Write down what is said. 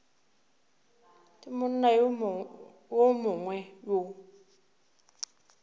le monna yo mongwe yo